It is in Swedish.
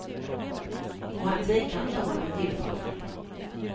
Och han tvekar inte om han blir tillfrågad.